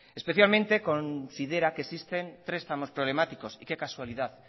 especialmente considera que existen tres tramos problemáticos y qué casualidad